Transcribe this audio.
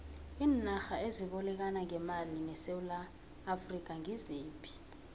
iinarha ezibolekana ngemali nesewula afrika ngiziphi